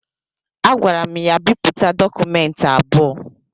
Agwara m ya bipụta dọkụmentị abụọ